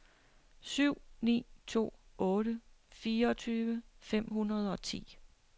syv ni to otte fireogtyve fem hundrede og ti